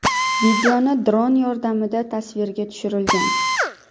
Videoni dron yordamida tasvirga tushirilgan.